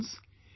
Friends,